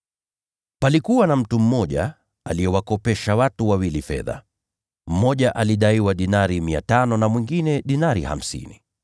“Palikuwa na mtu mmoja aliyewakopesha watu wawili fedha: Mmoja alidaiwa dinari 500 na mwingine dinari hamsini.